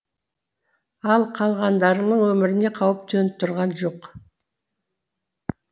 ал қалғандарының өміріне қауіп төніп тұрған жоқ